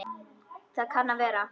Það kann að vera